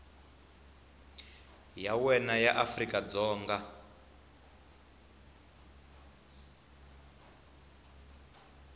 ya wena ya afrika dzonga